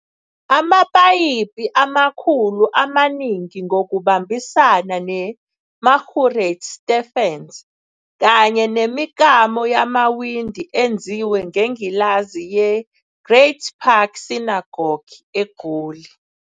Amapayipi amakhulu amaningi ngokubambisana neMarguerite Stephens kanye nemiklamo yamawindi enziwe ngengilazi yeGreat Park Synagogue eGoli.